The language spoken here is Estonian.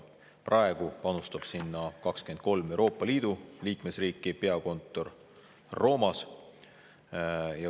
Praegu panustab sinna 23 Euroopa Liidu liikmesriiki, peakontor on Roomas.